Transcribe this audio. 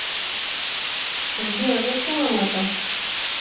сбер зачем им это